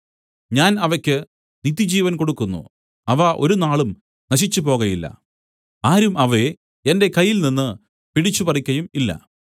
ഞാൻ അവയ്ക്ക് നിത്യജീവൻ കൊടുക്കുന്നു അവ ഒരുനാളും നശിച്ചു പോകയില്ല ആരും അവയെ എന്റെ കയ്യിൽ നിന്നു പിടിച്ചുപറിക്കയും ഇല്ല